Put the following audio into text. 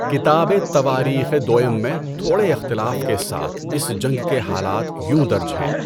کتاب تواریخ دؤم میں تھوڑے اختلاف کے ساتھ اِس جنگ کے حالات یوں درج ہیں۔